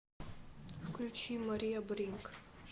включи мария бринк